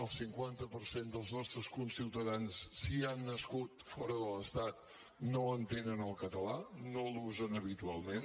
el cinquanta per cent dels nostres conciutadans si han nascut fora de l’estat no entenen el català no l’usen habitualment